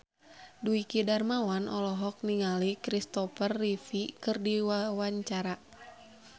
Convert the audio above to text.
Dwiki Darmawan olohok ningali Christopher Reeve keur diwawancara